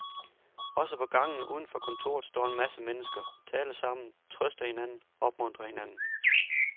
Også på gangen uden for kontoret står en masse mennesker, taler sammen, trøster hinanden, opmuntrer hinanden.